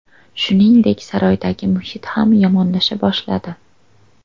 Shuningdek, saroydagi muhit ham yomonlasha boshladi.